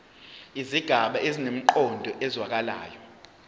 izigaba zinemiqondo ezwakalayo